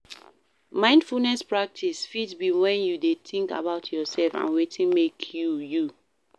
Mindfulness practice fit be when you de think about yourself and wetin make you, you